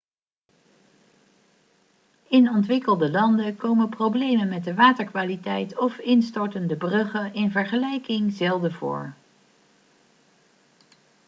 in ontwikkelde landen komen problemen met de waterkwaliteit of instortende bruggen in vergelijking zelden voor